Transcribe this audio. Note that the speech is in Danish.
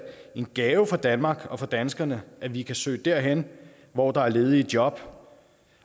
en gave fra danmark og for danskerne at vi kan søge derhen hvor der er ledige job